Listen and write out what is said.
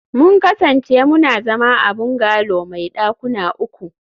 mun kasance muna zama a bungalow mai dakuna uku